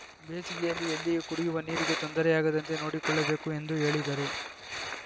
ಬೇಸಿಗೆಯಲ್ಲಿ ಎಲ್ಲಿಯೂ ಕುಡಿಯುವ ನೀರಿಗೆ ತೊಂದರೆಯಾಗದಂತೆ ನೋಡಿಕೊಳ್ಳಬೇಕು ಎಂದು ಹೇಳಿದರು